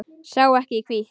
Sér ekki í hvítt.